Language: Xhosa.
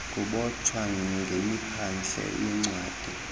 kubotshwa ngemiphandle yencwadi